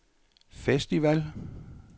festival